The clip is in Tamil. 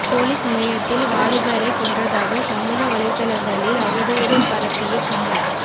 போலீஸ் நிலையத்தில் வாலிபரை கொன்றதாக சமூக வலைத்தளங்களில் அவதூறு பரப்பிய கும்பல்